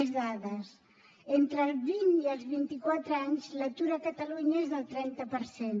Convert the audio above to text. més dades entre els vint i els vint quatre anys l’atur a catalunya és del trenta per cent